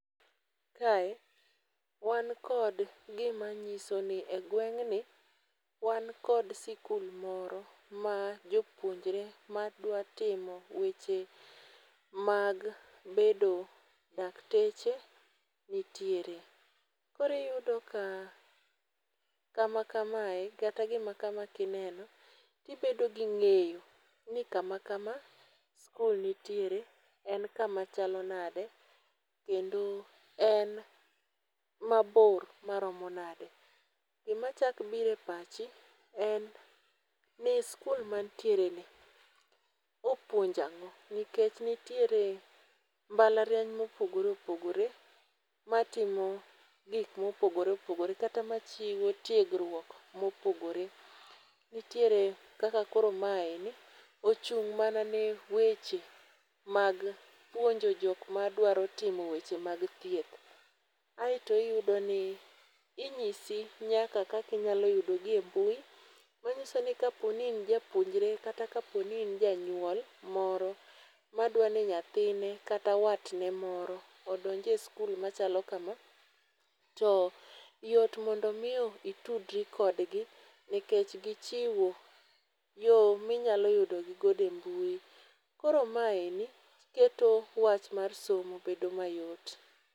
Kae, wan kod gima nyiso ni egweng'ni, wan kod skul moro ma jopuonjre madwa timo weche mag bedo dakteche nitiere. Kore iyudo ka kama kamae, gata gima kama kineno, tibedo ging'eyo ni kama kama skul nitiere, en kama chalo nade kendo en mabor maromo nade. Gi machak bire pachi, en ni skul mantiereni opuonjo ang'o. Nikech nitiere mbalariany mopogore opogore matimo gik mopogore opogore, kata machiwo tiegruok mopogore. Nitiere kaka koro mae ni ochung' mana ne weche mag puonjo jok madwaro timo weche mag thieth. Aeto iyudoni inyisi nyaka kaka inyalo yudogi e mbui, manyiso ni kapo ni in japuonjre kata kapo ni in janyuol moro madwa ne nyathine kata watne moro odonje skul machalo kama. To yot mondo miyo itudri kodgi, nikech gichiwo yo minyalo yudogi godo e mbui. Koro maye ni, keto wach mar somo bedo mayot.